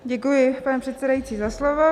Děkuji, pane předsedající, za slovo.